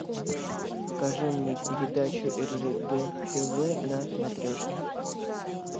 покажи мне передачу ржд тв на матрешке